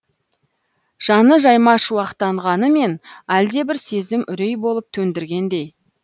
жаны жаймашуақтанғанымен әлдебір сезім үрей болып төндіргендей